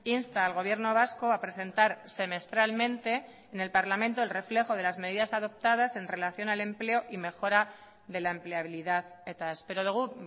insta al gobierno vasco a presentar semestralmente en el parlamento el reflejo de las medidas adoptadas en relación al empleo y mejora de la empleabilidad eta espero dugu